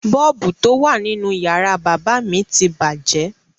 Bọ́ọ̀bù tó wà nínú yàrá bábà mi ti bàjẹ́.